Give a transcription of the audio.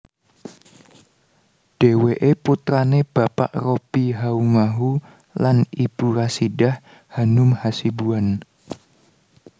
Dheweke putrane Bapak Robby Haumahu lan Ibu Rasidah Hanum Hasibuan